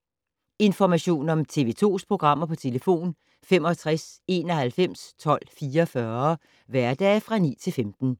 Information om TV 2's programmer: 65 91 12 44, hverdage 9-15.